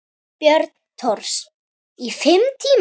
Björn Thors: Í fimm tíma?